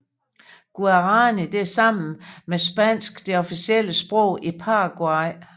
Guaraní er sammen med spansk det officielle sprog i Paraguay